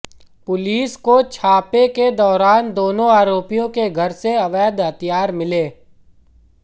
police को छापे के दौरान दोनों आरोपियों के घर से अवैध हथियार मिले हैं